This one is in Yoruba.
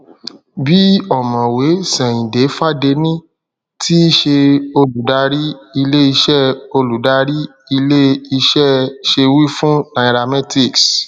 bí ọmọwé seinde fadeni tí ṣe olùdarí ilé iṣẹ olùdarí ilé iṣẹ ṣe wí fún nairametrics